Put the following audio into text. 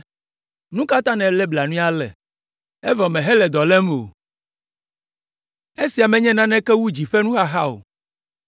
“Nu ka ta nèlé blanui ale, evɔ mèhele dɔ lém o? Esia menye naneke wu dzi ƒe nuxaxa o.”